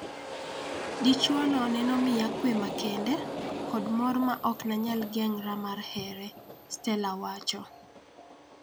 Dichuo no nenomiya kwe makende kod mor maoknanyal geng'ra mar here, Stella wacho.